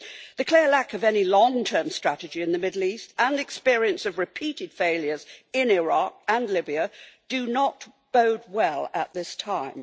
The clear lack of any long term strategy in the Middle East and experience of repeated failures in Iraq and Libya do not bode well at this time.